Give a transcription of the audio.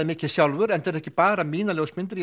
mikið sjálfur þetta eru ekki bara mína ljósmyndir